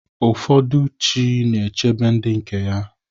Ụfọdụ chi na-echebe ndị nke ya.